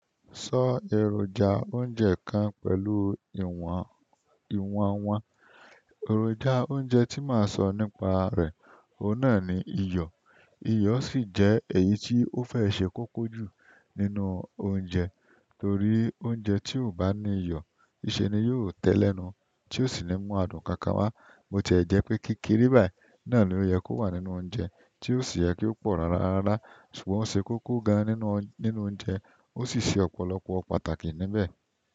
Sọ èròjà oúnjẹ kan pẹ̀lú ìwọ̀n ìwọ̀n wọn. Ẹ̀ròjà oúnjẹ tí màá sọ nípa rẹ̀, òun náà ni iyọ̀. Iyọ̀ sì jẹ́ èyí tí ó fẹ́ ṣe kókó jù nínú oúnjẹ, torí oúnjẹ tí ò bá ní iyọ̀, nìṣe ni yio tẹ́e ni ẹnu, tí ó sì ní mú adùn kan kan wá. Bo ti o jẹ̀ ẹ́ jẹ́pé kékééré báyìí náà ló yẹ kó wà nínú oúnjẹ, tí ó sì yẹ kó pọ̀ rárá rárá, ṣùgbọ́n ó ṣe kókó gan nínú nínú oúnjẹ ó sì ṣe ọ̀pọ̀lọpọ̀ pàtàkì níbẹ̀.